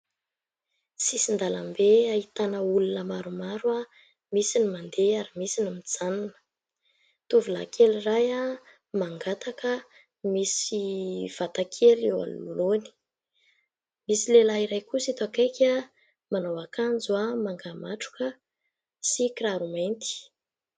Sisin-dalambe ahitana olona maromaro misy ny mandeha ary misy ny mijanona. Tovolahy kely iray mangataka misy vatakely eo anoloany. Misy lehilahy iray kosa eto akaiky manao akanjo manga matroka sy kiraro mainty.